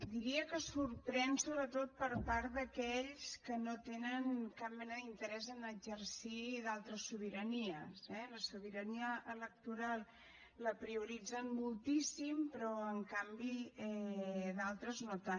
diria que sorprèn sobretot per part d’aquells que no tenen cap mena d’interès a exercir d’altres sobiranies eh la sobirania electoral la prioritzen moltíssim però en canvi d’altres no tant